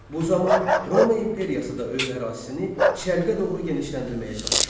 Bu zaman Roma imperiyası da öz ərazisini şərqə doğru genişləndirməyə çalışırdı.